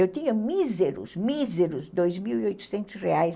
Eu tinha míseros, míseros, dois mil e oitocentos reais